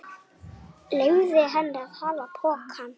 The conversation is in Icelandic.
Hvernig ætli standi á því?